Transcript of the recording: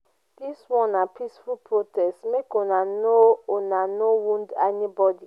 dis one na peaceful protest make una no una no wound anybodi.